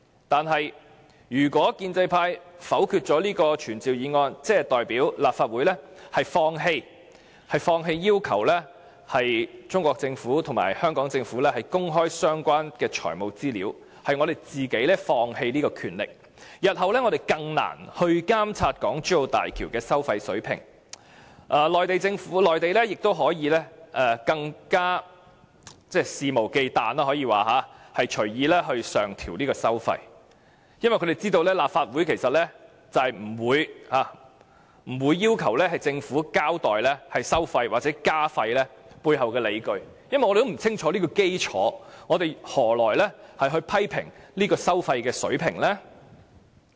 但是，如果建制派否決這項傳召議案，即代表立法會放棄要求中國政府和香港政府公開相關的財務資料，也就是我們自己放棄這權力，日後將更難監察港珠澳大橋的收費水平，內地亦會更肆無忌憚地隨意上調收費，因為他們知道立法會不會要求政府交代收費和加費的背後理據，我們根本不清楚有關的基礎，何以能批評收費水平呢？